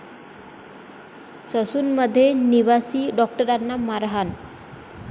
ससूनमध्ये निवासी डॉक्टारांना मारहाण